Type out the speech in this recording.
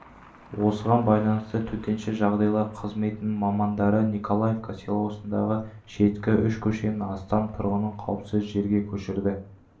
осыған байланысты төтенше жағдайлар қызметінің мамандары николаевка селосындағы шеткі үш көшенің астам тұрғынын қауіпсіз жерге көшірді